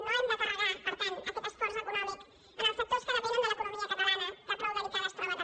no hem de carregar per tant aquest esforç econòmic als sectors que depenen de l’economia catalana que prou delicada es troba també